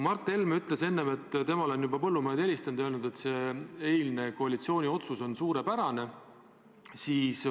Mart Helme ütles enne, et temale on juba põllumehed helistanud ja öelnud, et see eilne koalitsiooni otsus on suurepärane.